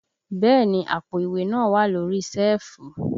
Bẹ́ẹ̀ni àpò ìwé náà wà lórí síẹ̀fù